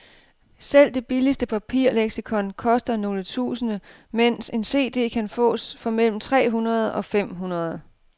Selv det billigste papirleksikon koster nogle tusinde, mens en cd kan fås for mellem tre hundrede og fem hundrede.